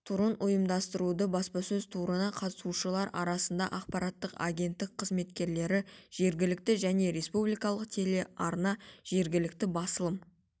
турын ұйымдастырды баспасөз турына қатысушылар арасында ақпараттық агенттік қызметкерлері жергілікті және республикалық телеарна жергілікті басылым